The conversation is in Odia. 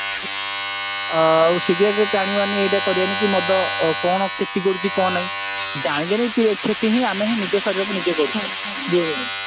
ଆଉ cigarette ଟାଣିବାନି କି ଏଇଟା କରିବାନି କି ମଦ କଣ କ୍ଷତି କରୁଛି କଣ ନାଇଁ ଜାଣି ଜାଣି କ୍ଷତି ଆମେ ହିଁ ନିଜ ଶରୀରକୁ ଆମେ ନିଜେ କରୁଚେ ଏଇ ଯୋଉ